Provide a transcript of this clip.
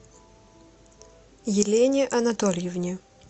елене анатольевне